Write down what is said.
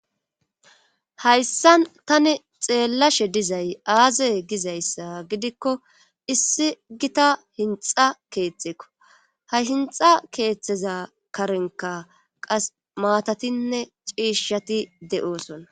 hayssan tani xeellashe dizay aaze gizayssa gidikko issi gita hinxa keetxeeko ha hinxa keeththeza karenka qas maatatinne ciishshati de7oosona